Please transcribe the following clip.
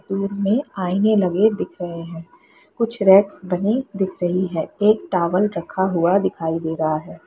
Room में आईने लगे दिख रहें हैं कुछ रैक्स बने दिख रही है एक टॉवल रखा हुआ दिखाई दे रहा है।